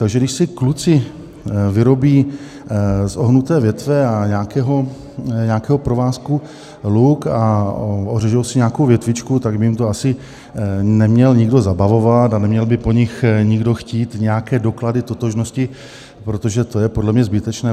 Takže když si kluci vyrobí z ohnuté větve a nějakého provázku luk a ořežou si nějakou větvičku, tak by jim to asi neměl nikdo zabavovat a neměl by po nich nikdo chtít nějaké doklady totožnosti, protože to je podle mě zbytečné.